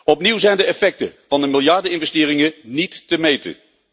Opnieuw zijn de effecten van de miljardeninvesteringen niet te meten.